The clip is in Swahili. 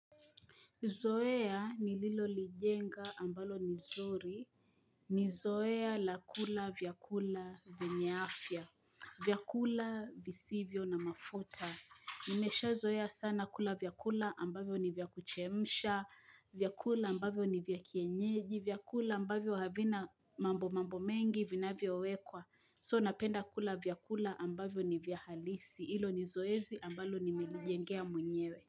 Zoea nililoligenga ambalo ni nzuri. Ni zoea la kula vya kula vyenye afya. Vyakula visivyo na mafuta. Nimeshazoea sana kula vyakula ambavyo ni vya kuchemsha. Vya kula ambavyo ni vya kienyeji. Vyakula ambavyo havina mambo mambo mengi vinavyo wekwa. So napenda kula vyakula ambavyo ni vya halisi. Hilo ni zoezi ambalo nimelijengea mwenyewe.